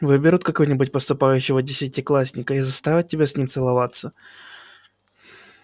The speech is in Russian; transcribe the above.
выберут какого нибудь поступающего десятиклассника и заставят тебя с ним целоваться